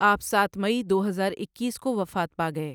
آپ سات مئی دو ہزار اکیس کو وفات پا گئے۔